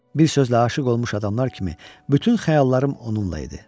Bir sözlə aşiq olmuş adamlar kimi bütün xəyallarım onunla idi.